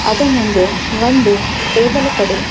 ಅದೆ ಮುಂದೆ ಒಂದು ಟೇಬಲ್ ಕಡೆ.